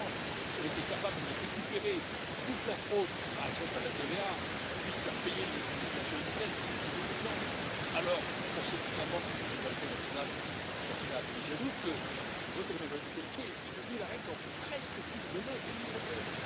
Franchement, si nous étions capables de récupérer toute la fraude, par exemple à la TVA, et de faire payer les multinationales de l'internet, je prends ces deux exemples, alors pensez vous vraiment que notre souveraineté nationale en sortirait affaiblie? J'ajoute que le vote à la majorité qualifiée est devenu la règle dans presque tous les domaines dans l'Union européenne.